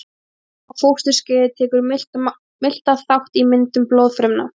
Snemma á fósturskeiði tekur miltað þátt í myndun blóðfrumna.